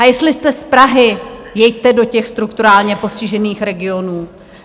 A jestli jste z Prahy, jeďte do těch strukturálně postižených regionů.